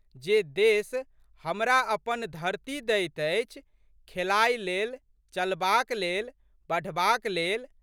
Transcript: जे देश हमरा अपन धरती दैत अछि खेलाइ लेल, चलबाक लेल, बढ़बाक लेल।